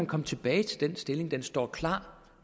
komme tilbage til den stilling den står klar